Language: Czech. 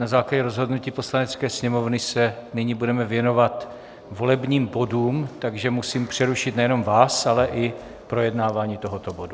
Na základě rozhodnutí Poslanecké sněmovny se nyní budeme věnovat volebním bodům, takže musím přerušit nejenom vás, ale i projednávání tohoto bodu.